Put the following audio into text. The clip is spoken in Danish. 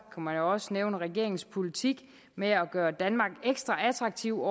man jo også nævne regeringens politik med at gøre danmark ekstra attraktiv